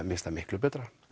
miklu betra